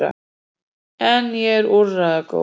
En ég er úrræðagóð.